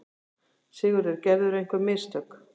SIGURÐUR: Gerðirðu einhver mistök?